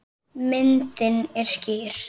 Myndin er skýr.